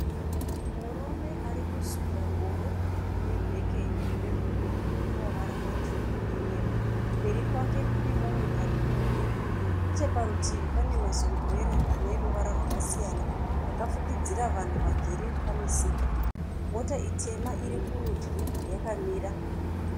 Murume ari kusunda ngoro ine bheke re"blue" nemavara matsvuku neyero. Mberi kwake kune mumwe ari kuuya. Necheparutivi pane masumburera ane ruvara rwakasiyana akafukidzira vanhu vagere pamisika. Mota itema iri kurudyi yakamira.